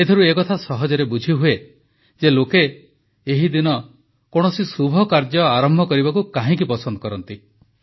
ଏଥିରୁ ଏ କଥା ସହଜରେ ବୁଝିହୁଏ ଯେ ଲୋକେ ଏହି ଦିନ କୌଣସି ଶୁଭ କାର୍ଯ୍ୟ ଆରମ୍ଭ କରିବାକୁ କାହିଁକି ପସନ୍ଦ କରନ୍ତି